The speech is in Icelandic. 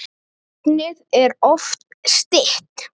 Nafnið er oft stytt.